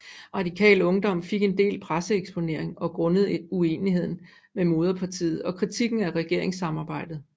Radikal Ungdom fik en del presseeksponering grundet uenigheden med moderpartiet og kritikken af regeringssamarbejdet